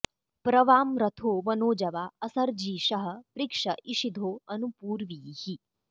प्र वां रथो मनोजवा असर्जीषः पृक्ष इषिधो अनु पूर्वीः